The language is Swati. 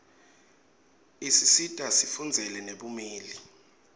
isisita sifundzele nebumeli